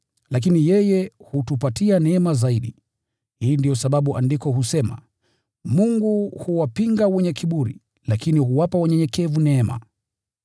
Lakini yeye hutupatia neema zaidi. Hii ndiyo sababu Andiko husema: “Mungu huwapinga wenye kiburi, lakini huwapa wanyenyekevu neema.”